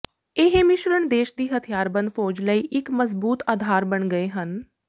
ਇਹ ਮਿਸ਼ਰਣ ਦੇਸ਼ ਦੀ ਹਥਿਆਰਬੰਦ ਫ਼ੌਜ ਲਈ ਇੱਕ ਮਜ਼ਬੂਤ ਆਧਾਰ ਬਣ ਗਏ ਹਨ